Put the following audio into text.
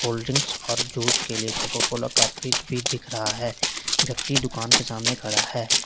Cold drinks और juice के लिए कोका कोला का फ्रिज भी दिख रहा है व्यक्ति दुकान के सामने खड़ा है।